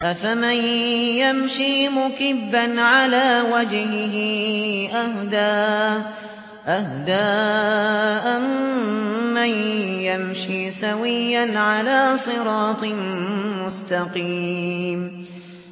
أَفَمَن يَمْشِي مُكِبًّا عَلَىٰ وَجْهِهِ أَهْدَىٰ أَمَّن يَمْشِي سَوِيًّا عَلَىٰ صِرَاطٍ مُّسْتَقِيمٍ